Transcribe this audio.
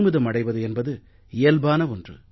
அடைவது என்பது இயல்பான ஒன்று